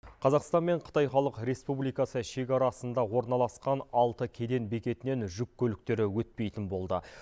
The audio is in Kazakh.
қазақстан мен қытай халық республикасы шекарасында орналасқан алты кеден бекетінен жүк көліктері өтпейтін болды